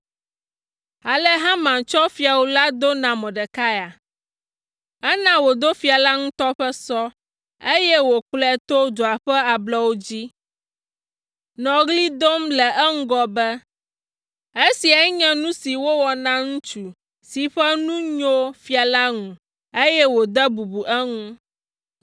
Ale Haman tsɔ fiawu la do na Mordekai, ena wòdo fia la ŋutɔ ƒe sɔ, eye wòkplɔe to dua ƒe ablɔwo dzi, nɔ ɣli dom le eŋgɔ be, “Esiae nye nu si wowɔ na ŋutsu si ƒe nu nyo fia la ŋu, eye wòde bubu eŋu!”